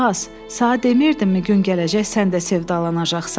Az, sən demirdinmi gün gələcək sən də sevdalanacaqsan?